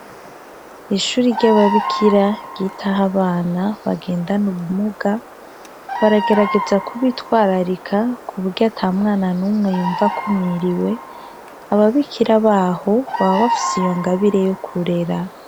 Ishure ry'ababikira ryitaho abana bagendana ubumuga baragerageza kubitwararika kuburyo ata mwana numwe yumva akumiriwe, ababikira baho baba bafise iyo ingabire yo kurera.